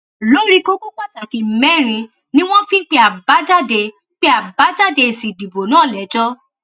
lórí kókó pàtàkì mẹrin ni wọn fi ń pe àbájáde pe àbájáde èsì ìdìbò náà lẹjọ